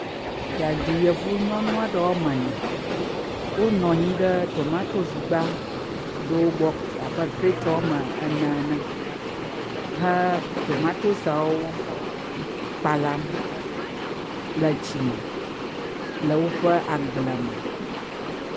Yaɖi yevu nyɔnu aɖewo mwoame ne. wonɔ anyi ɖe tomatosigba ɖewo gbɔ abe krete woame ne ene he tomatosiawo kpalam le tsi me le wo ƒe agble me.